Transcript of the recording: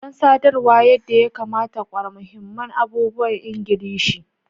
Don sadarwa yadda ya kamata, ƙware mahimman abubuwan Ingilishi.